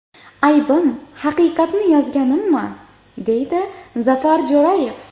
Aybim, haqiqatni yozganimmi?”, deydi Zafar Jo‘rayev.